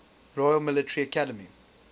royal military academy